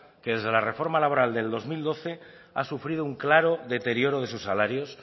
que desde la reforma laboral del dos mil doce ha sufrido un claro deterioro de sus salarios